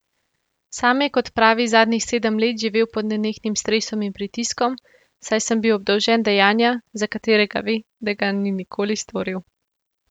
Sam je, kot pravi, zadnjih sedem let živel pod nenehnim stresom in pritiskom, saj sem bil obdolžen dejanja, za katerega ve, da ga ni nikoli storil.